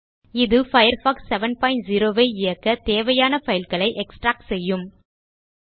இது பயர்ஃபாக்ஸ் 70 ஐ இயக்கத் தேவையான பைல் களை எக்ஸ்ட்ராக்ட் செய்யும்